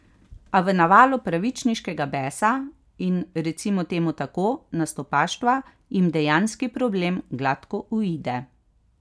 A v navalu pravičniškega besa in, recimo temu tako, nastopaštva jim dejanski problem gladko uide.